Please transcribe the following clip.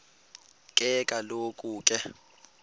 ke kaloku ke